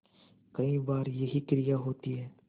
कई बार यही क्रिया होती है